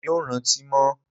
Èmi ò rántí mọ́ o